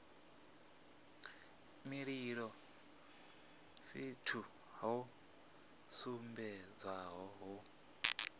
mililo fhethu ho sumbedzwaho hu